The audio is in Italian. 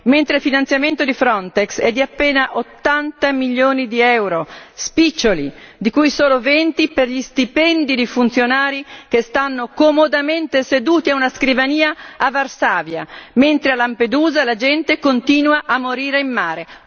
Mentre il finanziamento di Frontex è di appena 80 milioni di euro, spiccioli, di cui solo 20 per gli stipendi di funzionari che stanno comodamente seduti a una scrivania a Varsavia, mentre a Lampedusa la gente continua a morire in mare.